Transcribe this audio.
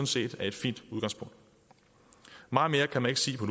set er et fint udgangspunkt meget mere kan man ikke sige på